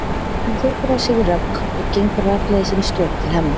Hún tekur á sig rögg og gengur rakleiðis inn í stofu til Hemma.